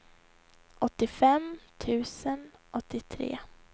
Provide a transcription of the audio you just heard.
åttiofem tusen åttiotre